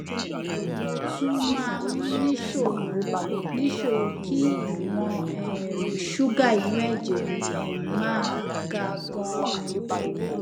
mo tún máa ń níṣòro níṣòro kí ìwọn um ṣúgà inú ẹjẹ mi um máa ga ganan